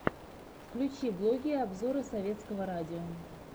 включи блоги и обзоры советского радио